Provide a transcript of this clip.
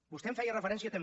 vostè em feia referència també